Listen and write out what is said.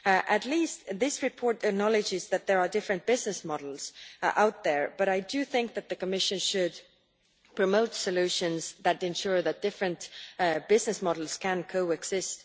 At least this report acknowledges that there are different business models out there, but I do think the Commission should promote solutions that ensure that different business models can co exist.